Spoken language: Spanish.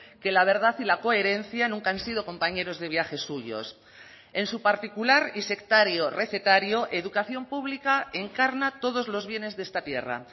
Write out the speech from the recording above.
que la verdad y la coherencia nunca han sido compañeros de viaje suyos en su particular y sectario recetario educación pública encarna todos los bienes de esta tierra